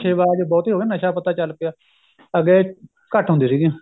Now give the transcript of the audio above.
ਨਸ਼ੇ ਬਾਜ ਬਹੁਤ ਹੀ ਹੋ ਗਏ ਨਸ਼ਾ ਪਤਾ ਚੱਲ ਪਿਆ ਅੱਗੇ ਘੱਟ ਹੁੰਦੀ ਸੀਗੀ